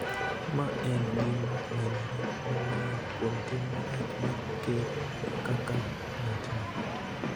ma en gima nenore maler kuom tim marach mar Ker kaka ng�atni.